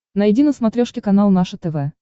найди на смотрешке канал наше тв